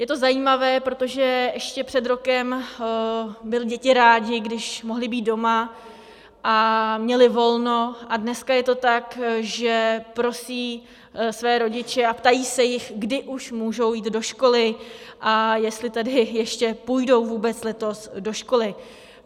Je to zajímavé, protože ještě před rokem byly děti rády, když mohly být doma a měly volno, a dneska je to tak, že prosí své rodiče a ptají se jich, kdy už můžou jít do školy a jestli tedy ještě půjdou vůbec letos do školy.